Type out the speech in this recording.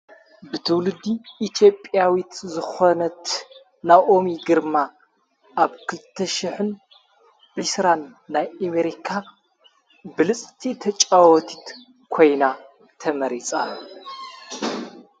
ብትውሉዲ ኢቲጵያዊት ዝኾነት ናኦሚ ግርማ ኣብ ክተሽሕን ርስራን ናይ አሜሪካ ብልጽቲ ተጫወቲት ኮይና ተመሪጻ::